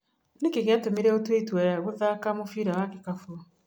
Nĩki gĩatũmire ũtue itua gũthaka mũbira wa gĩkabũ?